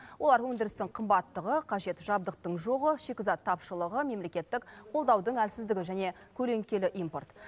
олар өндірістің қымбаттығы қажет жабдықтың жоғы шикізат тапшылығы мемлекеттік қолдаудың әлсіздігі және көлеңкелі импорт